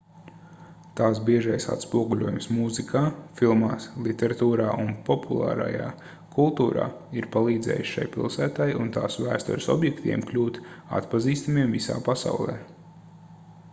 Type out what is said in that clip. tās biežais atspoguļojums mūzikā filmās literatūrā un populārajā kultūrā ir palīdzējis šai pilsētai un tās vēstures objektiem kļūt atpazīstamiem visā pasaulē